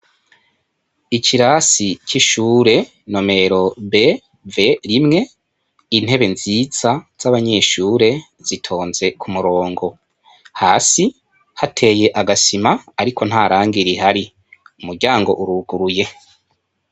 Ikirasi c' ishure nomero B V imwe intebe nziza z' abanyeshure zitonze ku murongo hasi hateye agasima ariko nta rangi rihari umuryango uruguruye.